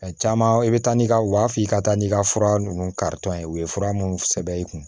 A caman i bɛ taa n'i ka u b'a f'i ka taa n'i ka fura ninnu karitɔn ye u ye fura minnu sɛbɛn i kun